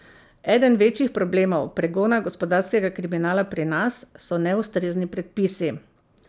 Eden večjih problemov pregona gospodarskega kriminala pri nas so neustrezni predpisi.